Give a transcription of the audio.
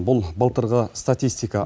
бұл былтырғы статистика